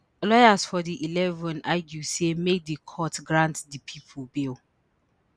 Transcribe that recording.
lawyers for di eleven argue say make di court grant di pipo bail